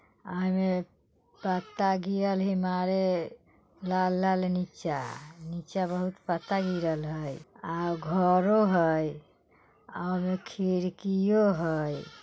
ओय में पत्ता गिरल हय मारे लाल-लाल नीचा नीचा बहुत पत्ता गिरल हय आ घरों हय ओय में खिड़कियों हय।